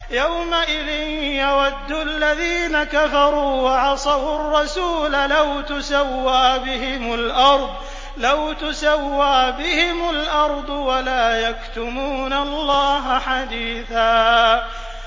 يَوْمَئِذٍ يَوَدُّ الَّذِينَ كَفَرُوا وَعَصَوُا الرَّسُولَ لَوْ تُسَوَّىٰ بِهِمُ الْأَرْضُ وَلَا يَكْتُمُونَ اللَّهَ حَدِيثًا